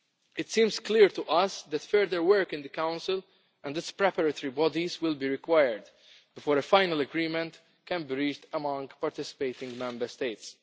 It seems clear to us that further work in the Council and its preparatory bodies will be required before a final agreement can be reached among participating Member States.